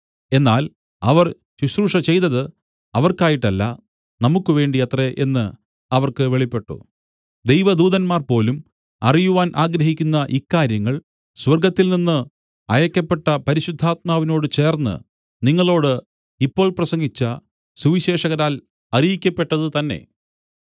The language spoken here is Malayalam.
എന്നാൽ അവർ ശുശ്രൂഷ ചെയ്തത് അവർക്കായിട്ടല്ല നമുക്കുവേണ്ടിയത്രെ എന്ന് അവർക്ക് വെളിപ്പെട്ടു ദൈവദൂതന്മാർ പോലും അറിയുവാൻ ആഗ്രഹിക്കുന്ന ഇക്കാര്യങ്ങൾ സ്വർഗ്ഗത്തിൽനിന്നു അയയ്ക്കപ്പെട്ട പരിശുദ്ധാത്മാവിനോട് ചേർന്ന് നിങ്ങളോട് ഇപ്പോൾ പ്രസംഗിച്ച സുവിശേഷകരാൽ അറിയിക്കപ്പെട്ടതുതന്നെ